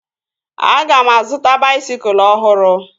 Aga m azụta baisikụl ọhụrụ